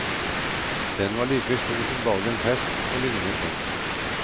Den var like stor som dagens hest og lignet den.